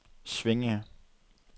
Svinninge